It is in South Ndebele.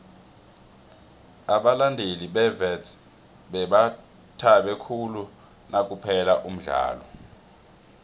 abalandeli bewits bebathabe khulu nakuphela umdlalo